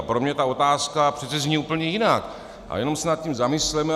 A pro mě ta otázka přece zní úplně jinak a jenom se nad tím zamysleme.